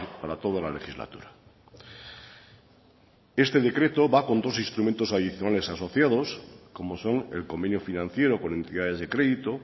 para toda la legislatura este decreto va con dos instrumentos adicionales asociados como son el convenio financiero con entidades de crédito